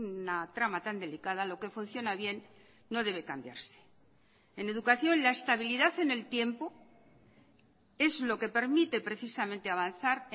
una trama tan delicada lo que funciona bien no debe cambiarse en educación la estabilidad en el tiempo es lo que permite precisamente avanzar